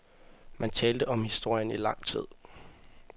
Man talte om historien i lang tid.